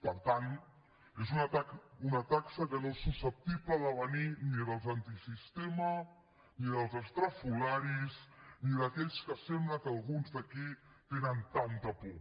per tant és una taxa que no és susceptible de venir ni dels antisistema ni dels estrafolaris ni d’aquells a qui sembla que alguns d’aquí tenen tanta por